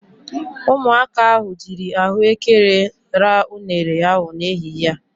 Ụmụaka ahụ jiiri ahụekere ra unere ahụ n'ehihie a.